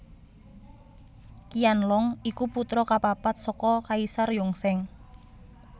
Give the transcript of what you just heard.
Qianlong iku putra kapapat saka Kaisar Yongzheng